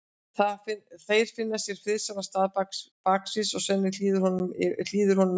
Þeir finna sér friðsælan stað baksviðs og Svenni hlýðir honum yfir hlutverkið.